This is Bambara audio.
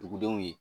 Dugudenw ye